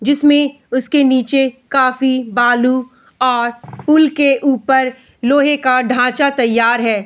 जिसमें उसके नीचे काफी बालू और पुल के ऊपर लोहे का ढाँचा तैयार है।